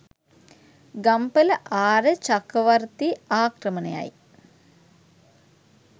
ගම්පල ආර්ය චක්‍රවර්තී ආක්‍රමණයයි.